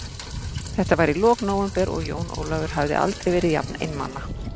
Þetta var í lok nóvember og Jón Ólafur hafði aldrei verið jafn einmana.